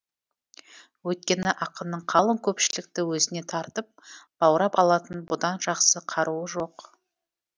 өйткені ақынның қалың көпшілікті өзіне тартып баурап алатын бұдан жақсы қаруы жоқ